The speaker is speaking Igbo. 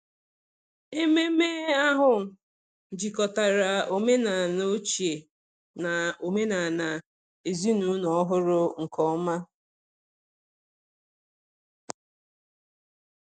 Ememme ahụ jikọtara omenala ochie na omenala ezinụlọ ọhụrụ nke ọma.